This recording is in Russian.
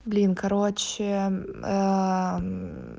блин короче